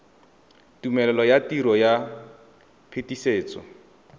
tumelelo ya tiro ya phetisetso